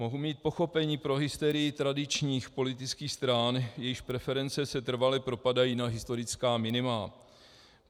Mohu mít pochopení pro hysterii tradičních politických stran, jejichž preference se trvale propadají na historická minima.